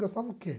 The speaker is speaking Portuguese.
Gastava o quê?